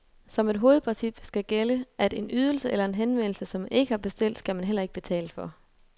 Som et hovedprincip skal gælde, at en ydelse eller en henvendelse, som man ikke har bestilt, skal man heller ikke betale for.